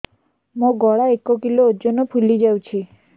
ମୋ ଗଳା ଏକ କିଲୋ ଓଜନ ଫୁଲି ଯାଉଛି